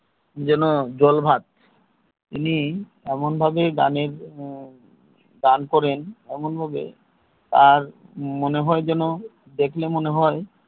যেন জল ভাত উনি এমন ভাবে গানের গান করেন এমন ভাবে মনে হয় যেন দেখলে মনে হয়